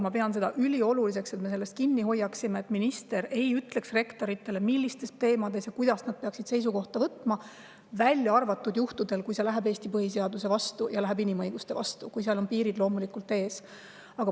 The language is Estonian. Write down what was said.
Ma pean ülioluliseks seda, et me sellest kinni hoiaksime: minister ei ütle rektoritele, millistel teemadel ja milliseid seisukohti nad peavad võtma, välja arvatud sellistel juhtudel, kui see läheb vastuollu Eesti põhiseadusega või inimõigustega, kui seal on piirid ees.